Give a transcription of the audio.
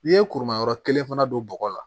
N'i ye kuru ma yɔrɔ kelen fana don bɔgɔ la